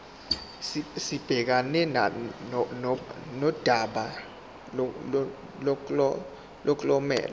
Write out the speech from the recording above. sibhekane nodaba lomklomelo